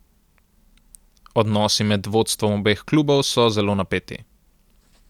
Odnosi med vodstvom obeh klubov so zelo napeti.